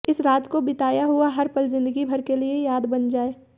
इस रात को बिताया हुआ हर पल जिंदगी भर के लिए याद बन जाये